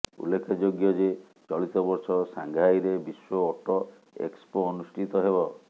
ଉଲ୍ଲେଖଯୋଗ୍ୟ ଯେ ଚଳିତ ବର୍ଷ ସାଙ୍ଘାଇରେ ବିଶ୍ବ ଅଟୋ ଏକ୍ସପୋ ଅନୁଷ୍ଠିତ ହେବ